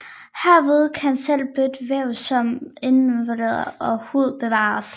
Herved kan selv blødt væv som indvolde og hud bevares